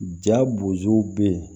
Ja bozow be yen